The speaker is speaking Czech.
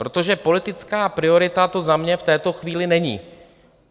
Protože politická priorita to za mě v této chvíli není.